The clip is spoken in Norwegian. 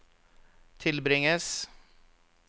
tilbringes